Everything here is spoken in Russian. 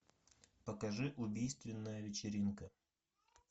покажи убийственная вечеринка